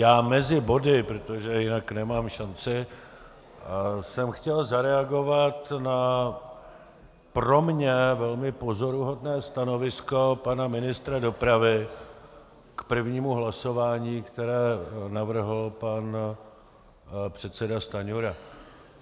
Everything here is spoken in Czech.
Já mezi body, protože jinak nemám šanci, jsem chtěl zareagovat na pro mě velmi pozoruhodné stanovisko pana ministra dopravy k prvnímu hlasování, které navrhl pan předseda Stanjura.